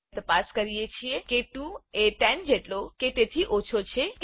તપાસ કરીએ છીએ કે 2 એ 10જેટલો કે તેથી ઓછો છે કે નહી